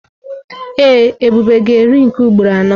Ee, Ebube ga-eri nke ugboro anọ.